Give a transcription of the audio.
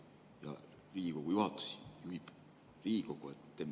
Ja Riigikogu juhatus juhib Riigikogu.